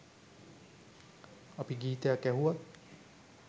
අපි ගීතයක් ඇහුවත්